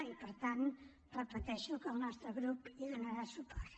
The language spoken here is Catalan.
i per tant ho repeteixo el nostre grup hi donarà suport